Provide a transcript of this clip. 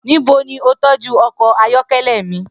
Nibo ni o tọju ọkọ ayọkẹlẹ mi?